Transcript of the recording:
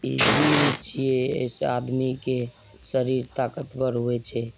इ जिम छे एसे आदमी के सरीर ताकतवर होय छे।